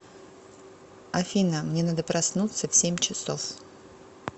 афина мне надо проснуться в семь часов